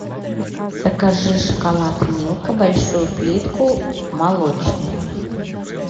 закажи шоколад милка большую плитку молочный